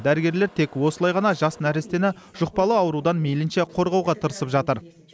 дәрігерлер тек осылай ғана жас нәрестені жұқпалы аурудан мейлінше қорғауға тырысып жатыр